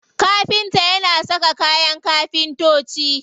Kafinta yana saka kayan kafintoci.